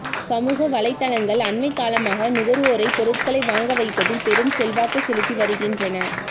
சமூக வலைத்தளங்கள் அண்மைக் காலமாக நுகர்வோரைப் பொருட்களை வாங்க வைப்பதில் பெரும் செல்வாக்கு செலுத்தி வருகின்றன